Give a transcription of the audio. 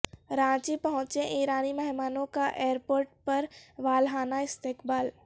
رانچی پہنچے ایرانی مہمانوں کا ایئر پورٹ پر والہانہ استقبال